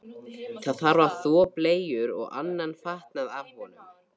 Það þarf að þvo bleyjur og annan fatnað af honum.